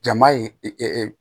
Jama ye